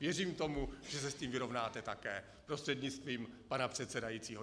Věřím tomu, že se s tím vyrovnáte také, prostřednictvím pana předsedajícího.